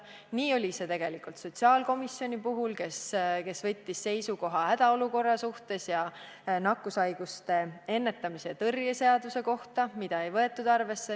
Nii oli see tegelikult ka sotsiaalkomisjoni puhul, kes võttis seisukoha hädaolukorra ning nakkushaiguste ennetamise ja tõrje seaduse suhtes – sedagi ei võetud arvesse.